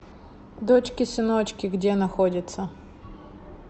дочки сыночки где находится